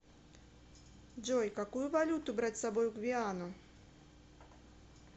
джой какую валюту брать с собой в гвиану